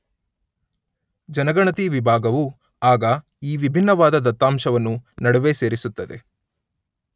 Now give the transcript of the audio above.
ಜನಗಣತಿ ವಿಭಾಗವು ಆಗ ಈ ವಿಭಿನ್ನವಾದ ದತ್ತಾಂಶವನ್ನು ನಡುವೆ ಸೇರಿಸುತ್ತದೆ.